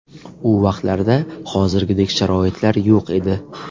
U vaqtlarda hozirgidek sharoitlar yo‘q edi.